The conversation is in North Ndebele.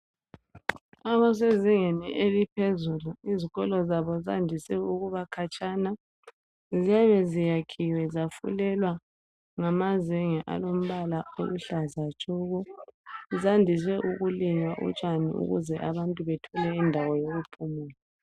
Abasezingeni eliphezulu ezikolo zabo zandise ukubakhatshana ziyabe zakhiwe zafulelwa ngamazenge alombala oluhlaza tshoko. Zandise ukulinywa utshani ibuluhlaza ukuze abantu bathole indawo yokuphumula.